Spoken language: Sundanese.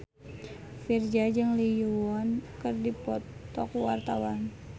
Virzha jeung Lee Yo Won keur dipoto ku wartawan